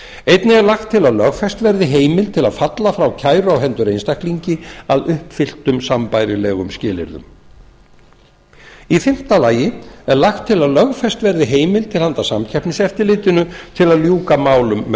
einnig er lagt til að lögfest verði heimild til að falla frá kæru á hendur einstaklingi að uppfylltum sambærilegum skilyrðum fimmta lagt er til að lögfest verði heimild til handa samkeppniseftirlitinu með því að ljúka með